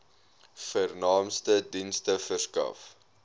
vernaamste dienste verskaf